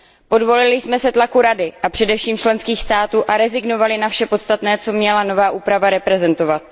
Podvolili jsme se tlaku Rady a především členských států a rezignovali na vše podstatné, co měla nová úprava reprezentovat.